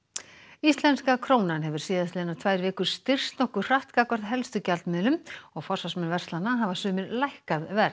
íslenska krónan hefur síðastliðnar tvær vikur styrkst nokkuð hratt gagnvart helstu gjaldmiðlum og forsvarsmenn verslana hafa sumir lækkað verð